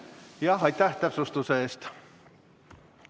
Aitäh täpsustuse eest!